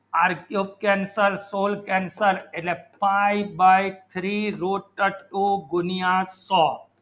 આર્યો cancel પ્રો cancel એને f ive by three root ગુનીયસ આસો